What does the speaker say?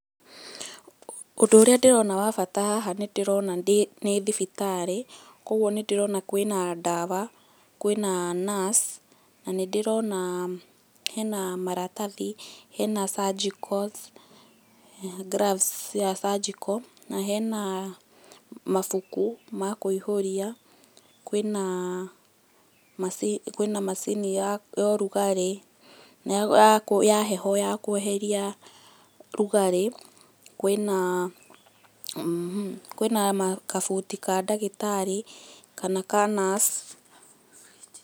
Ũndũ ũrĩa ndĩrona wa bata haha nĩndĩrona nĩ thibitarĩ, koguo nĩdĩrona kwĩna dawa, kwĩna nurse, na nĩndĩrona hena maratathi, hena surgicals, gloves cia surgical, he na mabuku ma kũihũria, kwĩna macini ya ũrugarĩ, ya heho ya kweheria ũrugarĩ, kwĩna [mh] kabuti ka ndagĩtarĩ kana ka nurse.